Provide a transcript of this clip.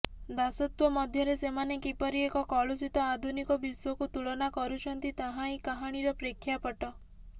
ଦାସତ୍ବ ମଧ୍ୟରେ ସେମାନେ କିପରି ଏକ କଳୁଷିତ ଆଧୁନିକ ବିଶ୍ବକୁ ତୁଳନା କରୁଛନ୍ତି ତାହା ହିଁ କାହାଣୀର ପ୍ରେକ୍ଷାପଟ